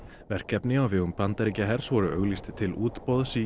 verkefni á vegum Bandaríkjahers voru auglýst til útboðs í